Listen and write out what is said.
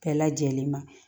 Bɛɛ lajɛlen ma